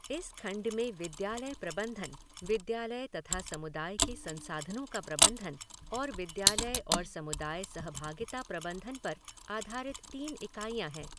इस खण्ड में विद्यालय प्रबंधन, विद्यालय तथा समुदाय के संसाधनों का प्रबंधन और विद्यालय और समुदाय सहभागिता प्रबन्धन पर आधारित तीन इकाईयाँ हैं।